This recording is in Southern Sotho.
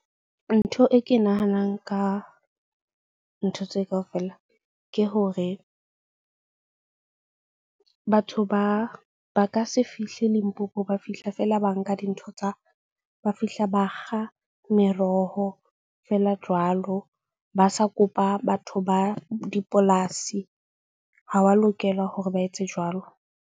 Ntho e ke nahanang ka ntho tse kaofela ke hore batho ba ka se fihle Limpopo. Ba fihla fela ba nka dintho tsa ba fihla, ba kga meroho feela jwalo. Ba sa kopa batho ba dipolasi ha wa lokela hore ba etse jwalo.